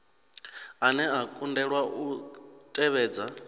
ane a kundelwa u tevhedza